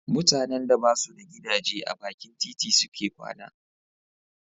Mutanen da ba su da gidaje a bakin titi suke kwana.